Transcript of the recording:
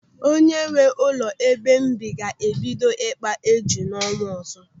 Onye nwee ụlọ ebe m bi ga-ebido ikpa éjù n'ọnwa ọzọ.